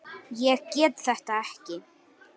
Ég get þetta ekki.